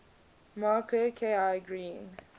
marker ki agreeing